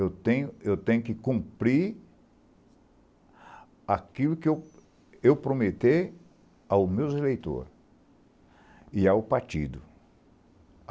Eu tenho eu tenho que cumprir aquilo que eu eu prometer ao meu eleitor e ao partido.